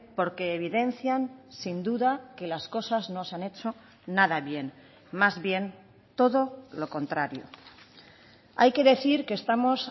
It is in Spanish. porque evidencian sin duda que las cosas no se han hecho nada bien más bien todo lo contrario hay que decir que estamos